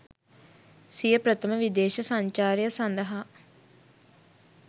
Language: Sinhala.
සිය ප්‍රථම විදේශ සංචාරය සඳහා